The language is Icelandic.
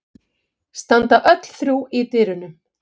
Standa öll þrjú í dyrunum.